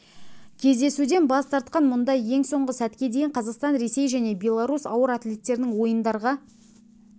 кездесуден бас тартқан мұнда ең соңғы сәтке дейін қазақстан ресей және беларусь ауыр атлеттерінің ойындарға